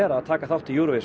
að taka þátt í Eurovision